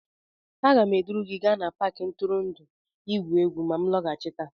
Aga m eduru gị gaa n'Paakị ntụrụndụ igwu egwu ma m nlaghachite